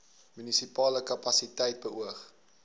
munisipale kapasiteit beoog